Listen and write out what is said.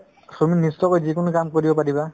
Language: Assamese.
তুমি নিশ্চয়কৈ যিকোনো কাম কৰিব পাৰিবা